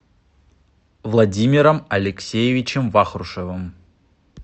владимиром алексеевичем вахрушевым